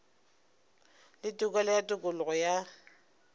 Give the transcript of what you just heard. le tokelo ya tokologo ya